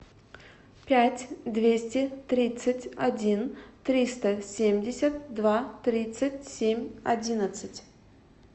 пять двести тридцать один триста семьдесят два тридцать семь одиннадцать